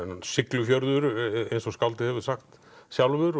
Siglufjörður eins og skáldið hefur sagt sjálfur